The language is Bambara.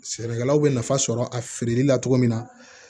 Sɛnɛkɛlaw bɛ nafa sɔrɔ a feereli la cogo min na